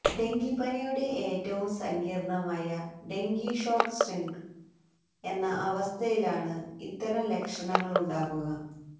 ഡെങ്കിപ്പനിയുടെ ഏറ്റവും സങ്കീര്ണമായ dengue shock syndrome എന്ന അവസ്ഥയിലാണ് ഇത്തരം ലക്ഷണങ്ങളുണ്ടാകുക